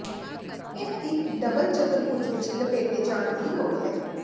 ਇਹ ਇੱਕ ਡਬਲ ਚਤੁਰਭੁਜ ਵਿੱਚ ਲਪੇਟੇ ਜਾਣ ਦੀ ਲੋੜ ਹੈ